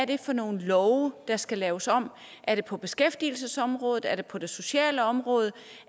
det er for nogle love der skal laves om er det på beskæftigelsesområdet er det på det sociale område